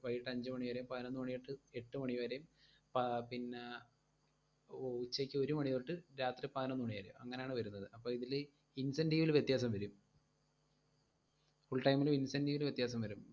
വൈകീട്ട് അഞ്ച് മണിവരെയും പൈനൊന്നു മണിതൊട്ട് എട്ട് മണിവരേയും പ~ പിന്ന ഉ~ ഉച്ചക്ക് ഒരുമണിതൊട്ട് രാത്രി പതിനൊന്നുമണിവരേയും, അങ്ങനാണ് വരുന്നത്. അപ്പോ ഇതില് incentive ല് വ്യത്യാസം വരും full-time ലും incentive ല് വ്യത്യാസം വരും